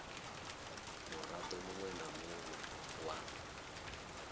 murado munwe na munwe wa